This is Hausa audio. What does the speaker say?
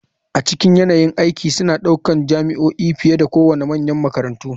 A cikin yanayin aiki suna ɗaukar jami'o'i fiye da kowane manyan makarantu.